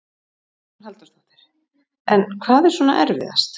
Hugrún Halldórsdóttir: En hvað er svona erfiðast?